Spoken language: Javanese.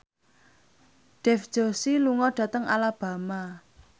Dev Joshi lunga dhateng Alabama